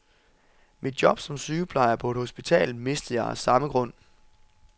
Mit job som sygeplejer på et hospital mistede jeg af samme grund.